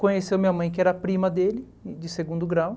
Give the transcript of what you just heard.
Conheceu minha mãe, que era prima dele, de segundo grau.